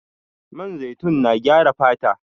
Man zaitun na gyara fata